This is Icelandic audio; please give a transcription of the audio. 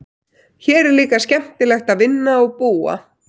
Hér er líka skemmtilegt að vinna og búa.